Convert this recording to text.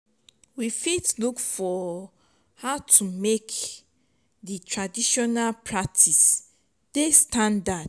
we fit look for how to make di traditional practice dey standard